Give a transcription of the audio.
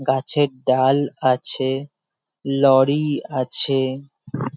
গাছের ডাল আছে। লরি আছে ।